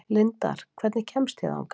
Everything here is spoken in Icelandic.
Lindar, hvernig kemst ég þangað?